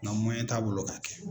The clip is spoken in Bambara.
Nka t'a bolo k'a kɛ.